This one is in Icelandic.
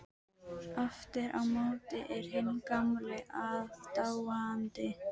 Aftur á móti er hinn gamli aðdáandi